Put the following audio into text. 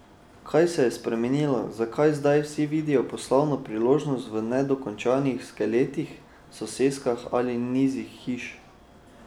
Kaj se je spremenilo, zakaj zdaj vsi vidijo poslovno priložnost v nedokončanih skeletih, soseskah ali nizih hiš?